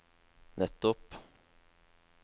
nettopp